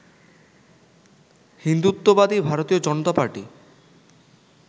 হিন্দুত্ববাদী ভারতীয় জনতা পার্টি